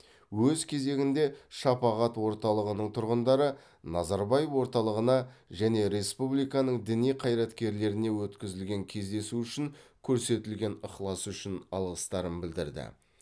өз кезегінде шапағат орталығының тұрғындары назарбаев орталығына және республиканың діни қайраткерлеріне өткізілген кездесу үшін көрсетілген ықылас үшін алғыстарын білдірді